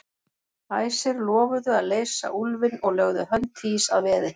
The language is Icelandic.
Æsir lofuðu að leysa úlfinn og lögðu hönd Týs að veði.